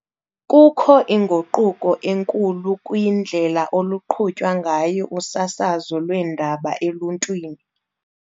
Kukho inguquko enkulu kwindlela oluqhutywa ngayo usasazo lweendaba eluntwini.